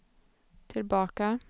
tillbaka